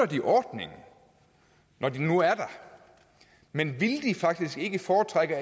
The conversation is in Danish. de ordningen når den nu er der men ville de faktisk ikke foretrække